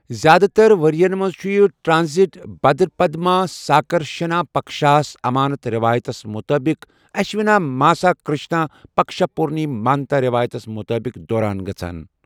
زِیٛادٕ تر ؤرۍ یَن منٛز چھُ یہِ ٹرانزٹ بھدرپد ماسا کرشنا پکشاہَس امانت رٮ۪وایتَس مُطٲبِق اشوینا ماسا کرشنا پکشا پورنی مانتا رٮ۪وایتَس مُطٲبِق دوران گژھَان